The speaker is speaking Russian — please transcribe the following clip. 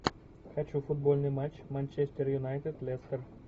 хочу футбольный матч манчестер юнайтед лестер